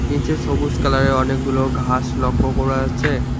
নিচে সবুজ কালারের অনেকগুলো ঘাস লক্ষ্য করা যাচ্ছে।